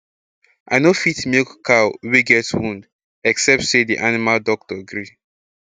i nor fit milk cow wey get wound except say d animal doctor gree